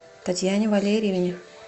татьяне валерьевне